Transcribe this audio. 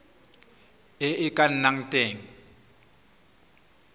e e ka nnang teng